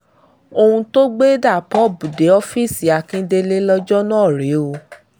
ohun tó gbé dabop dé ọ́ọ́fíìsì akíndélé lọ́jọ́ náà rèé o